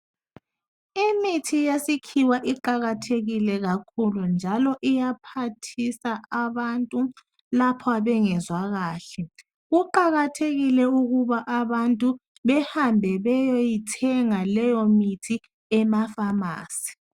imithi yesikhiwa iqakathekile kakhulu njalo iyaphathisa abantu lapha bengezwa kahle kuqakathekile ukuba abantu behambe beyeyithenga leyo mithi ema phamarcy